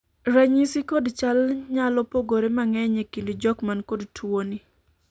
ranyisi kod chal nyalo pogore mangeny ekind jok man kod tuo ni